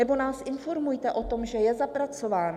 Nebo nás informujte o tom, že je zapracován.